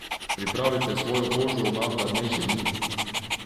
Pripravite svojo kožo na hladnejše dni!